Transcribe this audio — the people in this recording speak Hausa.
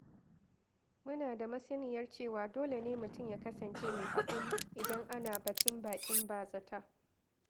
Muna da masaniyar cewa dole ne mutum ya kasance mai haƙuri idan ana batun baƙin bazata.